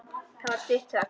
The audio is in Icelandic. Það varð stutt þögn.